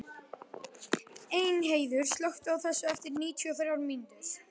Elínheiður, slökktu á þessu eftir níutíu og þrjár mínútur.